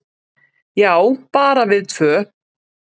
"""Já, bara við tvö."""